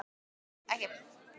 Nei, nei, ég geri það ekki.